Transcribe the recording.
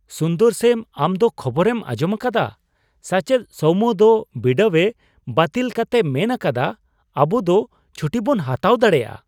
ᱥᱩᱱᱫᱚᱨᱥᱮᱢ ᱟᱢ ᱫᱚ ᱠᱷᱚᱵᱚᱨᱮᱢ ᱟᱸᱡᱚᱢ ᱟᱠᱟᱫᱟ ? ᱥᱟᱪᱮᱫ ᱥᱳᱣᱢᱳ ᱫᱚ ᱵᱤᱰᱟᱹᱣᱮ ᱵᱟᱹᱛᱤᱞ ᱠᱟᱛᱮᱭ ᱢᱮᱱ ᱟᱠᱟᱫᱟ ᱟᱵᱩ ᱫᱚ ᱪᱷᱩᱴᱤᱵᱚᱱ ᱦᱟᱛᱟᱣ ᱫᱟᱲᱮᱭᱟᱜᱼᱟ !